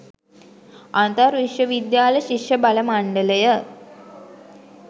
අන්තර් විශ්ව විද්‍යාල ශිෂ්‍ය බල මණ්ඩලය